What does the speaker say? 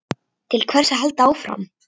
Til hvers að halda áfram?